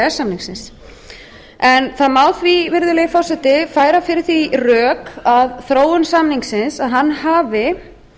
s samningsins það má því virðulegi forseti færa fyrir því rök að þróun samningsins hafi